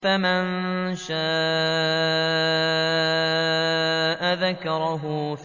فَمَن شَاءَ ذَكَرَهُ